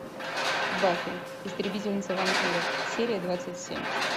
баффи истребительница вампиров серия двадцать семь